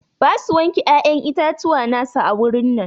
Ba su wanke ƴaƴan itatuwa na su a wurin nan.